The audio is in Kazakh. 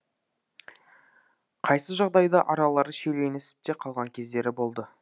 қайсы жағдайда аралары шиеленісіп те қалған кездері болды